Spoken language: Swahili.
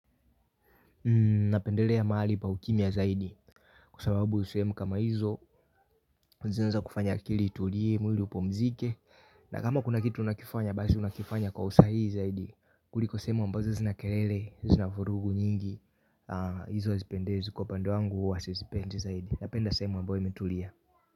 Na pendelea mahali pa ukimia zaidi kuasababu usehemu kama hizo unaenza kufanya kilitulie, muli upumzike. Na kama kuna kitu unakifanya basi unakifanya kwa usahii zaidi. Kuliko semu ambazo zinakelele, zinafurugu nyingi. Hizo azipendezi kwa upande wangu, huwazizipendi zaidi. Napenda sehemu ambayo imetulia.